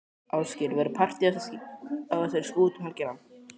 Ásgeir, verður partý á þessari skútu um helgina?